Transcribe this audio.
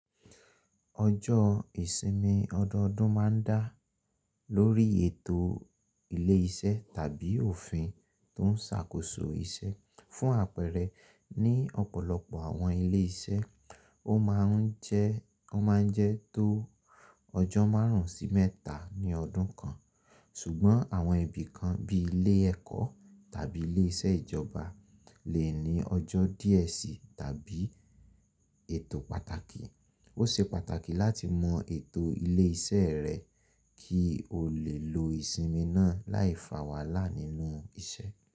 Ọjọ́ ìsinmi ọdọọdún máa ń dá lórí ètò ilé iṣẹ́ tàbí òfin tó ń ṣàkóso iṣẹ́. Fún àpẹẹrẹ, ní ọ̀pọ̀lọpọ̀ àwọn ilé iṣẹ́, ó máa ń jẹ́ tó ọjọ́ márùn-ún sí mẹ́ta ní ọdún kan, ṣùgbọ́n àwọn ibi kan bí ilé ẹ̀kọ́ tàbí ilé iṣẹ́ ìjọba lè ní ọjọ́ díẹ̀ sí tàbí ètò pàtàkì. Ó ṣe pàtàkì láti mọ ètò ilé iṣẹ́ rẹ kí o lè lo ìsinmi náà láìfàwàlá nínú iṣẹ́.